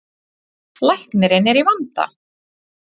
Læknirinn er í vanda.